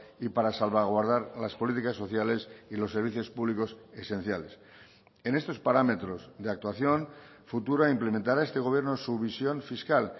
y para salvaguardar las políticas sociales y los servicios públicos esenciales en estos parámetros de actuación futura implementará este gobierno su visión fiscal